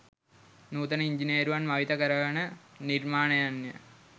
නූතන ඉංජිනේරුවන් මවිත කරවන නිර්මාණයන්ය